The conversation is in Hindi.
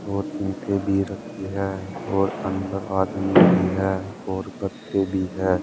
और ईंटें भी रखी हैं और अंदर आदमी भी है और गत्ते भी है।